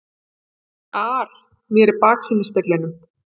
ar mér í baksýnisspeglinum.